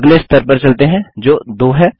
अगले स्तर पर चलते हैं जो 2 है